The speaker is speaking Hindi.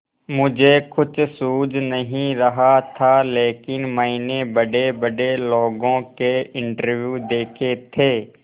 मुझे कुछ सूझ नहीं रहा था लेकिन मैंने बड़ेबड़े लोगों के इंटरव्यू देखे थे